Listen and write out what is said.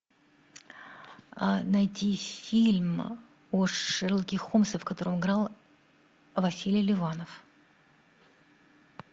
найти фильм о шерлоке холмсе в котором играл василий ливанов